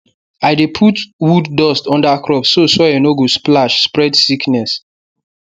i dey put wood dust under crop so soil no go splash spread sickness